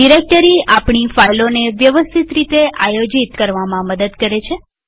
directory આપણી ફાઈલોને વ્યવસ્થિત રીતે આયોજિતઓર્ગનાઈઝ કરવામાં મદદ કરે છે